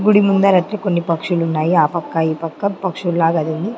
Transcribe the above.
గుడి ముందర అట్లే కొన్ని పక్షులున్నాయి ఆ పక్క ఈ పక్క పక్షులాగ్ .